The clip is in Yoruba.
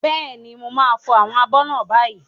Bẹ́ẹ̀ni, mo máa fọ àwọn abọ́ náà báyìí.